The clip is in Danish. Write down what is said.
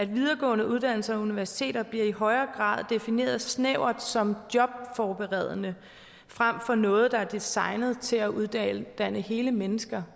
videregående uddannelser og universiteter bliver i højere grad defineret snævert som jobforberedende frem for noget der er designet til at uddanne hele mennesker